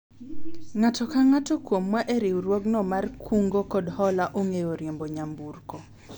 ng'ato ka ng'ato kuomwa e riwruogno mar kungo kod hola ong'eyo riembo nyamburko